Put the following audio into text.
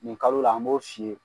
Nin kalo la an b'o f'i ye.